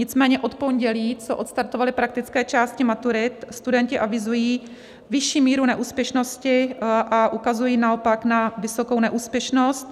Nicméně od pondělí, co odstartovaly praktické části maturit, studenti avizují vyšší míru neúspěšnosti a ukazují naopak na vysokou neúspěšnost.